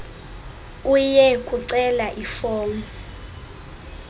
uye kucela ifomu